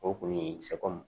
O kun ye sɛkɔmu